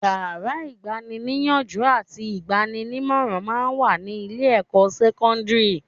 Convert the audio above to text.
Yàrá ìgbani-níyànjú àti ìgbaninímọ̀ràn máa ń wà ní ilé-ẹ̀kọ́ sẹ́kọ́ndírì